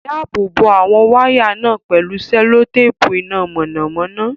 Dáàbò bo àwọn wáyà náà pẹ̀lú sẹ́lótéèpù iná mọ̀nàmọ́ná.